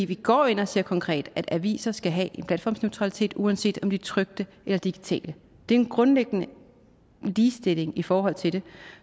vi går ind og siger konkret at aviser skal have en platformsneutralitet uanset om de er trykte eller digitale det er en grundliggende ligestilling i forhold til det